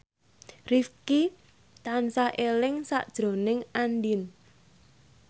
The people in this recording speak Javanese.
Rifqi tansah eling sakjroning Andien